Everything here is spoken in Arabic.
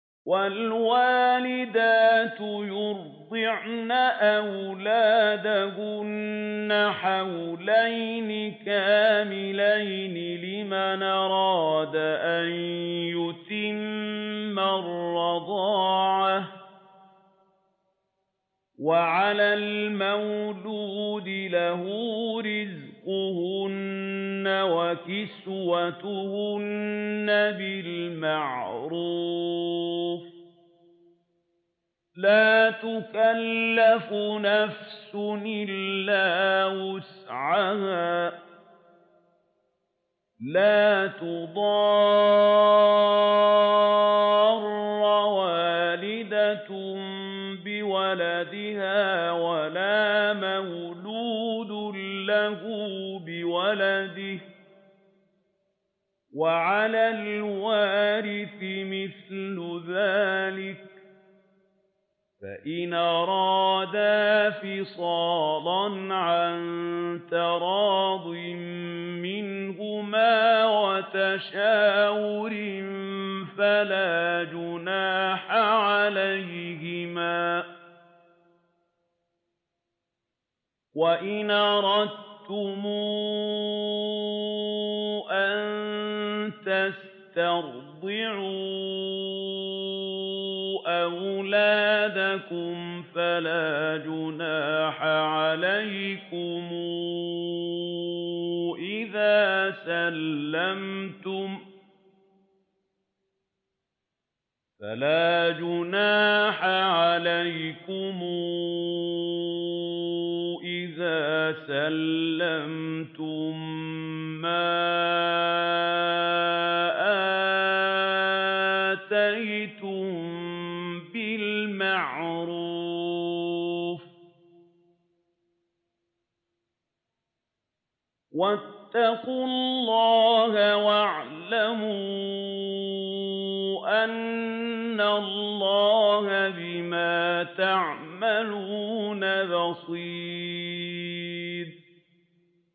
۞ وَالْوَالِدَاتُ يُرْضِعْنَ أَوْلَادَهُنَّ حَوْلَيْنِ كَامِلَيْنِ ۖ لِمَنْ أَرَادَ أَن يُتِمَّ الرَّضَاعَةَ ۚ وَعَلَى الْمَوْلُودِ لَهُ رِزْقُهُنَّ وَكِسْوَتُهُنَّ بِالْمَعْرُوفِ ۚ لَا تُكَلَّفُ نَفْسٌ إِلَّا وُسْعَهَا ۚ لَا تُضَارَّ وَالِدَةٌ بِوَلَدِهَا وَلَا مَوْلُودٌ لَّهُ بِوَلَدِهِ ۚ وَعَلَى الْوَارِثِ مِثْلُ ذَٰلِكَ ۗ فَإِنْ أَرَادَا فِصَالًا عَن تَرَاضٍ مِّنْهُمَا وَتَشَاوُرٍ فَلَا جُنَاحَ عَلَيْهِمَا ۗ وَإِنْ أَرَدتُّمْ أَن تَسْتَرْضِعُوا أَوْلَادَكُمْ فَلَا جُنَاحَ عَلَيْكُمْ إِذَا سَلَّمْتُم مَّا آتَيْتُم بِالْمَعْرُوفِ ۗ وَاتَّقُوا اللَّهَ وَاعْلَمُوا أَنَّ اللَّهَ بِمَا تَعْمَلُونَ بَصِيرٌ